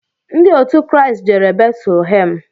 Ndị òtù Christ jere Betulhem.